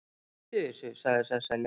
Hættu þessu, sagði Sesselja.